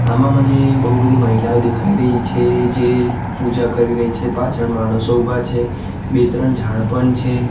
આમાં મને બહુ બધી મહિલાઓ દેખાય રહી છે જે પૂજા કરી રહી છે પાછળ માણસો ઉભા છે બે ત્રણ ઝાડ પણ છે.